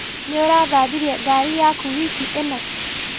Nĩũrathambirie ngari yaku wiki ĩno?